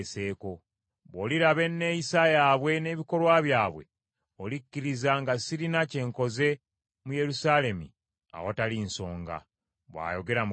Bw’oliraba enneeyisa yaabwe n’ebikolwa byabwe olikkiriza nga sirina kye nkoze mu Yerusaalemi awatali nsonga, bw’ayogera Mukama Katonda.”